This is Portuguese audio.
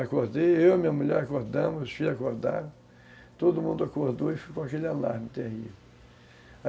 Acordei, eu e minha mulher acordamos, os filhos acordaram, todo mundo acordou e ficou aquele alarme terrível.